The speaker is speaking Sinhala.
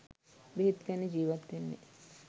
බෙහෙත් ගන්නෙ ජීවත් වෙන්නෙ